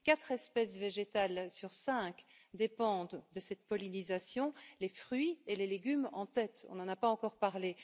Quatre espèces végétales sur cinq dépendent de cette pollinisation, les fruits et les légumes en tête nous n'en avons pas encore parlé.